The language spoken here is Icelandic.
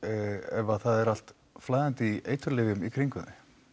ef það er allt flæðandi í eiturlyfjum í kringum